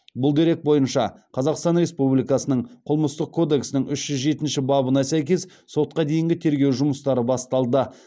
бұл дерек бойынша қазақстан республикасының қылмыстық кодексінің үш жүз жетінші бабына сәйкес сотқа дейінгі тергеу жұмыстары басталды